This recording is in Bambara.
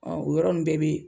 Ɔn o yɔrɔ nunnu bɛɛ be